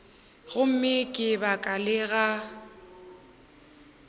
gomme ka baka la go